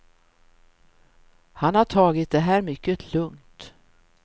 Han har tagit det här mycket lugnt.